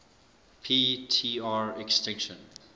p tr extinction